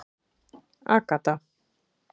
Agatha